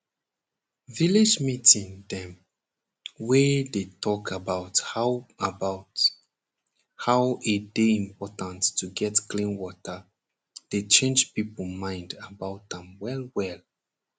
village meeting dem wey dey talk about how about how e dey important to get clean water dey change pipo mind about am well well